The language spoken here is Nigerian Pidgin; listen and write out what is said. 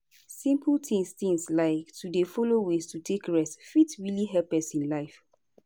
simple tins tins like to dey follow ways to take rest fit really help person life